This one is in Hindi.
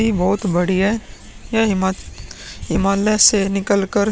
नदी बहुत बड़ी है यह हिमा हिमालया से निकल कर --